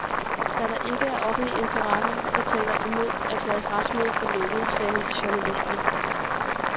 Da der ikke er offentlige interesser, der taler imod, erklæres retsmødet for lukket, sagde han til journalisterne.